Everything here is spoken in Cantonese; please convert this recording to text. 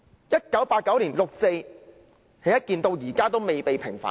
1989年的六四事件，至今尚未平反。